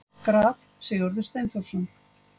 Graf: Sigurður Steinþórsson.